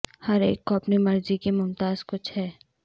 ہر ایک کو اپنی مرضی کی ممتاز کچھ ہے